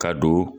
Ka don